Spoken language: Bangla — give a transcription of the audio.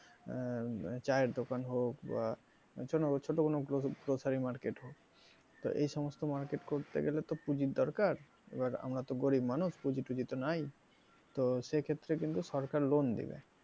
আহ চায়ের দোকান হোক বা ছোট কোনো grocery market হোক তো এই সমস্ত market করতে তো পুজির দরকার এবার আমরা তো গরিব মানুষ পুজি টুজি তো নায় তো সেক্ষেত্রে কিন্তু সরকার loan দিবে,